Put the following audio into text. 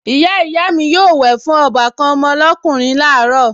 Ìyáàyá mi yóò wẹ̀ fún ọbàkan mi lọ́kùnrin láàárọ̀